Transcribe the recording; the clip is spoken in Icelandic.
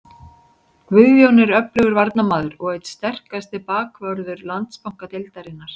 Guðjón er öflugur varnarmaður og einn sterkasti bakvörður Landsbankadeildarinnar.